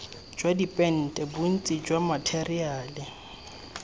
jwa dipente bontsi jwa matheriale